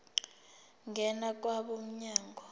ngena kwabo mnyango